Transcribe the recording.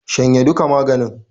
Shanye duka maganin!